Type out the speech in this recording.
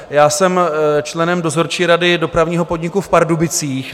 Já jsem členem dozorčí rady Dopravního podniku v Pardubicích.